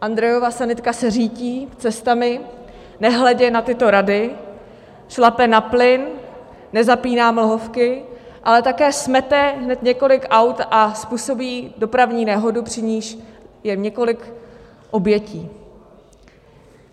- Andrejova sanitka se řítí cestami, nehledě na tyto rady šlape na plyn, nezapíná mlhovky, ale také smete hned několik aut a způsobí dopravní nehodu, při níž je několik obětí.